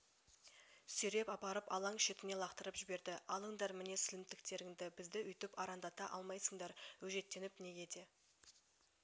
сүйреп апарып алаң шетіне лақтырып жіберді алыңдар міне сілімтіктеріңді бізді өйтіп арандата алмайсыңдар өжеттеніп неге де